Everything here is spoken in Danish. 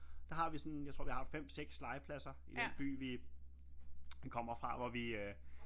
Der har vi sådan jeg tror vi har 5 6 legepladser i den by vi kommer fra hvor vi øh